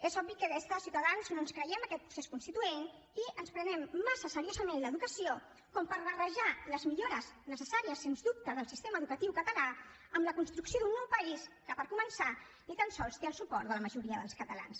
és obvi que des de ciutadans no ens creiem aquest procés constituent i ens prenem massa seriosament l’educació per barrejar les millores necessàries sens dubte del sistema educatiu català amb la construcció d’un nou país que per començar ni tan sols té el suport de la majoria dels catalans